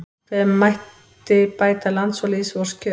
Hve mætti bæta lands og lýðs vors kjör